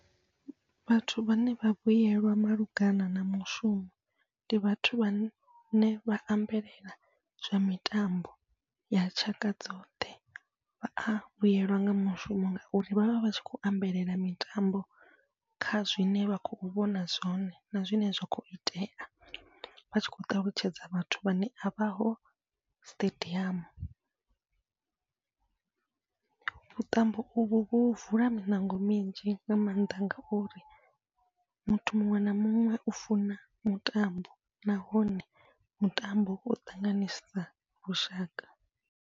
Vhathu vhane vha vhuyelwa malugana na mushumo, ndi vhathu vhane vha ambelela zwa mitambo ya tshaka dzoṱhe vhaya vhuyelwa nga mushumo, ngauri vhavha vhatshi kho ambelela mitambo kha zwine vha khou vhona zwone na zwine zwa khou itea vha tshi khou ṱalutshedza vhathu vhane a vhaho siṱediamu. Vhuṱambo uvho vhu vula miṋango minzhi nga maanḓa ngauri muthu muṅwe na muṅwe u funa mutambo, nahone mutambo u ṱanganisa lushaka.